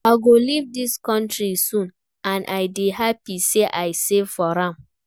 I go leave dis country soon and I dey happy say I save for am